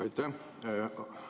Aitäh!